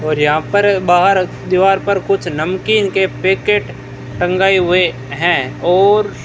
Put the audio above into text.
और यहां पर बाहर दीवार पर कुछ नमकीन के पैकेट टंगाए हुए हैं और --